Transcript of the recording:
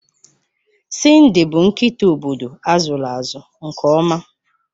Cindy bụ nkịta obodo azụlụ azụ nke ọma.